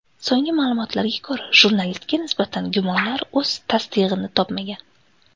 So‘nggi ma’lumotlarga ko‘ra, jurnalistga nisbatan gumonlar o‘z tasdig‘ini topmagan.